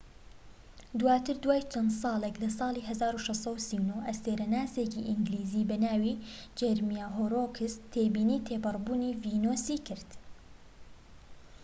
دواتر، دوای چەند ساڵێک لە ساڵی 1639 ئەستێرەناسێکی ئینگلیزی بە ناوی جێرمیا هۆررۆکس تێبینی تێپەڕ بوونی ڤینۆسی کرد‎